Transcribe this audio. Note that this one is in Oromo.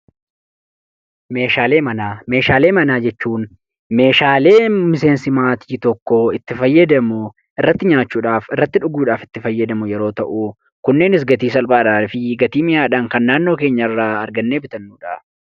Meeshaalee manaa jechuun meeshaalee miseensi maatii tokkoo itti fayyadamu yoo ta'u, innis irratti nyaachuudhaaf, irratti dhuguudhaaf irratti fayyadamnudha. Kunneenis gatii salphaa fi mi'aawaadhaan kan naannoo keenyaa irraa argannee bitannudha.